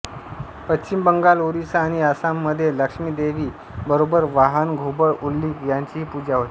पश्चिम बंगाल ओरिसा आणि आसाममध्ये लक्ष्मी देवी बरोबर वाहन घुबड उल्लीक याचीही पूजा होते